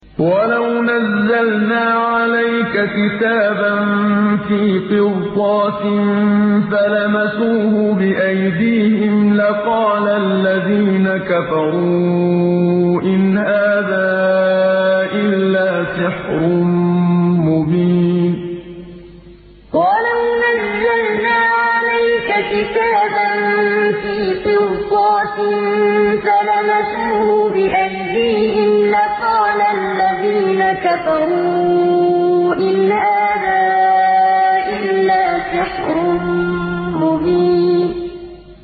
وَلَوْ نَزَّلْنَا عَلَيْكَ كِتَابًا فِي قِرْطَاسٍ فَلَمَسُوهُ بِأَيْدِيهِمْ لَقَالَ الَّذِينَ كَفَرُوا إِنْ هَٰذَا إِلَّا سِحْرٌ مُّبِينٌ وَلَوْ نَزَّلْنَا عَلَيْكَ كِتَابًا فِي قِرْطَاسٍ فَلَمَسُوهُ بِأَيْدِيهِمْ لَقَالَ الَّذِينَ كَفَرُوا إِنْ هَٰذَا إِلَّا سِحْرٌ مُّبِينٌ